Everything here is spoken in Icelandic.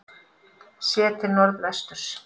Séð til norðvesturs.